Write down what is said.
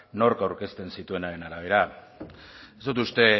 nork aurkezten zituenaren arabera ez dut uste